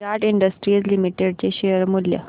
विराट industries limited चे share मूल्य